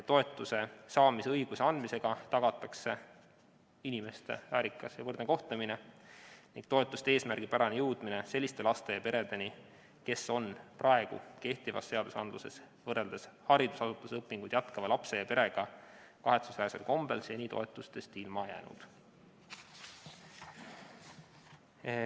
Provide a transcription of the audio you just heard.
Toetuse saamise õiguse andmisega tagatakse inimeste väärikas ja võrdne kohtlemine ning toetuste eesmärgipärane jõudmine selliste lastega peredeni, kes on kehtiva seaduse sätete tõttu võrreldes haridusasutuses õpinguid jätkava lapse ja perega kahetsusväärsel kombel seni toetustest ilma jäänud.